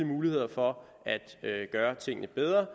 mulighed for at gøre tingene bedre